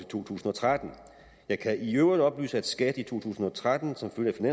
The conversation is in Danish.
to tusind og tretten jeg kan i øvrigt oplyse at skat i to tusind og tretten som følge